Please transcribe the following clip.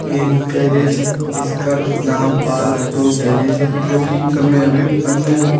ये एक गैरेज है जिसका नाम पाल ऑटो गैरेज है जो की समय अभी बंद है।